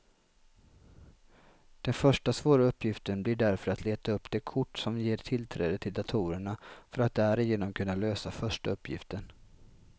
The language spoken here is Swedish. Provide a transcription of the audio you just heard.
Den första svåra uppgiften blir därför att leta upp det kort som ger tillträde till datorerna för att därigenom kunna lösa första uppgiften.